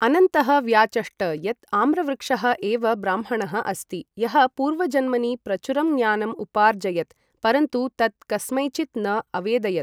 अनन्तः व्याचष्ट यत् आम्रवृक्षः एव ब्राह्मणः अस्ति, यः पूर्वजन्मनि प्रचुरं ज्ञानम् उपार्जयत्, परन्तु तत् कस्मैचित् न अवेदयत्।